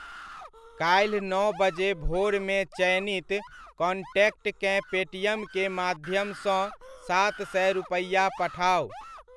काल्हि नओ बजे भोरमे चयनित कॉन्टैक्टकेँ पेटीएम के माध्यमसँ सात सए रुपैआ पठाउ।